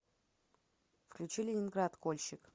включи ленинград кольщик